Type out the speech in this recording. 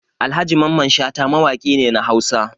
Alhaji Mamman Shata mawaki ne na Hausa.